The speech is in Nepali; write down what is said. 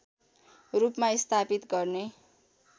रूपमा स्थापित गर्ने